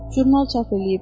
Jurnal çap eləyib.